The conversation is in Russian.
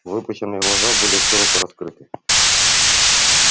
выпученные глаза были широко раскрыты